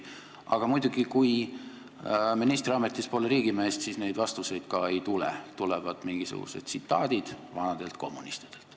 Aga muidugi, kui ministriametis pole riigimeest, siis neid vastuseid ei tule, tulevad mingisugused tsitaadid vanadelt kommunistidelt.